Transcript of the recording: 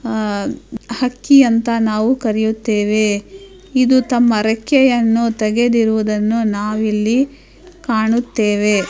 ಆ ಹಕ್ಕಿಯಂತ್ ನಾವು ಕರಿಯುತ್ತೇವೆ ಇದು ತಮ್ಮ ರೆಕ್ಕೆಯನ್ನು ತೆಗೆದಿರುವುದನ್ನು ನವ್ವು ಇಲ್ಲಿ ಕಾಣುತ್ತೇವೆ .